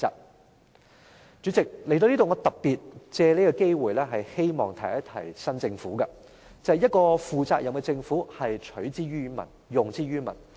代理主席，談到這點，我特別藉此機會，希望提醒新政府，便是一個負責任的政府是取之於民，用之於民。